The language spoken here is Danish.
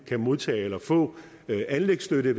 kan modtage eller få anlægsstøtte